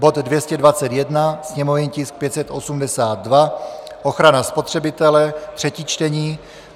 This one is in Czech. bod 221, sněmovní tisk 582 - ochrana spotřebitele, třetí čtení;